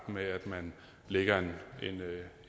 med at man lægger